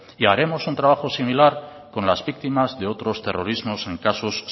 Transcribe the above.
y haremos un trabajo similar con las víctimas de otros terrorismos en casos